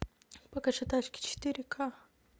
покажи тачки четыре ка